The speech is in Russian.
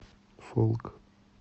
фолк